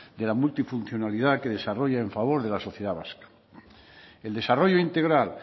de la multifuncionalidad que desarrolla a favor de la sociedad vasca el desarrollo integral